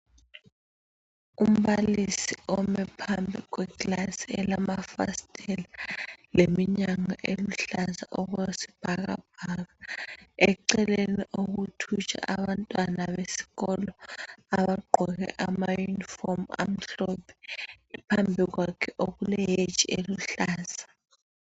Umbalisi ome phambi kwekilasi elamafasitela leminyango eluhlaza okwesibhakabhaka ,eceleni okuthutsha abantwana besikolo abagqoke amayunifomu amhlophe .Phambi kwakhe okule "hedge " eluhlaza.